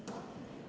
Aitäh!